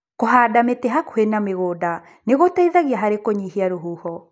Kũhanda mĩti hakuhĩ na mĩgunda nĩgũteithagia harĩ kũnyihia rũhuho.